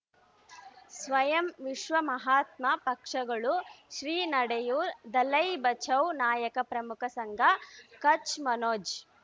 ಸ್ವಯಂ ವಿಶ್ವ ಮಹಾತ್ಮ ಪಕ್ಷಗಳು ಶ್ರೀ ನಡೆಯೂ ದಲೈ ಬಚೌ ನಾಯಕ ಪ್ರಮುಖ ಸಂಘ ಕಚ್ ಮನೋಜ್